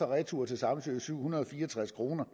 retur til samsø koster syv hundrede og fire og tres kroner